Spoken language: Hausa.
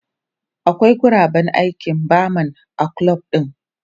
Akwai guraben aikin barman a kulob din.